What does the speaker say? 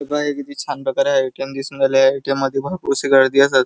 बघा हे किती छान प्रकारे हा ए.टी.एम. दिसून राहिला आहे ए.टी.एम. मध्ये भरपूरशी गर्दी असं--